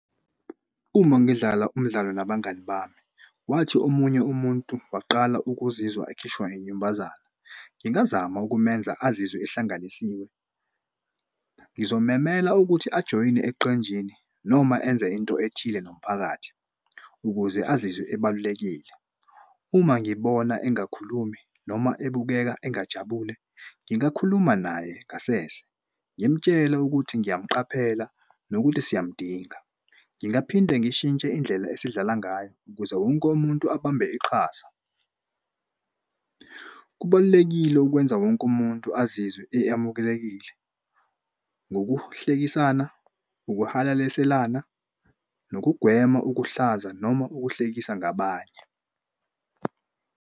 Uma ngidlala umdlalo nabangani bami wathi omunye umuntu waqala ukuzizwa ekhishwa inyumbazane ngingazama ukumenza azizwe ehlanganisiwe. Ngizomemela ukuthi ajoyine eqenjini noma enze into ethile nomphakathi ukuze azizwe ebalulekile. Uma ngibona engakhulumi noma ebukeka engajabule ngingakhuluma naye ngasese ngimtshele ukuthi ngiyamuqaphela nokuthi siyamdinga. Ngingaphinde ngishintshe indlela esidlala ngayo ukuze wonke umuntu abambe iqhaza. Kubalulekile ukwenza wonke umuntu azizwe eyamukelekile ngokuhlekisana, ukuhalaliselana nokugwema ukuhlaza noma ukuhlekisa ngabanye.